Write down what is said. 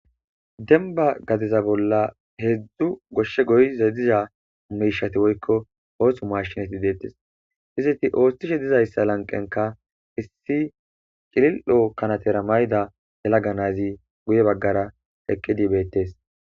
Denba gadeza bolla heedzdzu goshshe goyza diza mishati woykko oosu mashinati deettes izeti oottishe dizayssa lanqenka issi cilil7o kanatera mayda hela ganazi guye baggara eqqidi beettes